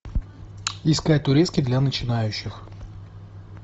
искать турецкий для начинающих